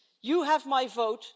You have my vote.